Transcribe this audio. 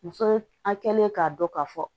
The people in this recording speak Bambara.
Muso a kɛlen k'a dɔn k'a fɔ